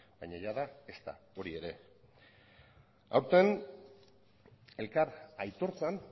baina jada ezta hori ere aurten elkar aitortzan